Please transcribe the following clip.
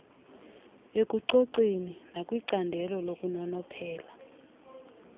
ekucoceni nakwincandelo lokunonophela